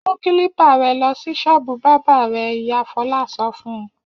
Mú kílípà rẹ lọ sí ṣọ́ọ́bù bábà rẹ̀! Ìyá Fọlá sọ fún un.